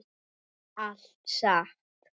Allt satt.